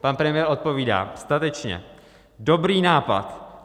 Pan premiér odpovídá statečně: Dobrý nápad.